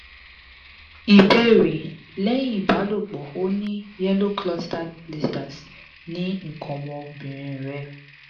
ìbéèrè: lẹ́yìn ìbálòpọ̀ ó ní yellow clustered blisters ni ikan Ọmọbìnrin rẹ